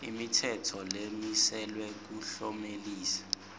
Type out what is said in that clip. imitsetfo lemiselwe kuklomelisa